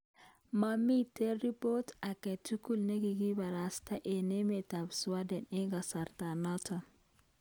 Mamii ribot ake tugul ne kigibarasta eng emet ab sweden eng kasartanoto